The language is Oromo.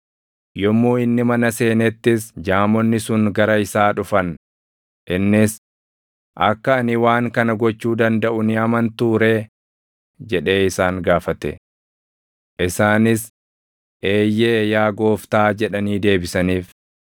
Yommuu inni mana seenettis jaamonni sun gara isaa dhufan; innis, “Akka ani waan kana gochuu dandaʼu ni amantuu ree?” jedhee isaan gaafate. Isaanis, “Eeyyee, yaa Gooftaa!” jedhanii deebisaniif.